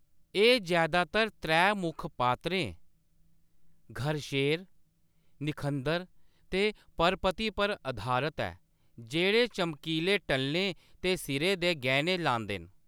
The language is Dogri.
एह्‌‌ जैदातर त्रै मुक्ख पात्रें, घरशेर, निखंदर ते परपति पर अधारत ऐ, जेह्‌‌ड़े चमकीले टल्लें ते सिरै दे गैह्‌ने लांदे न।